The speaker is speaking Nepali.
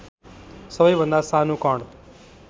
सबैभन्दा सानु कण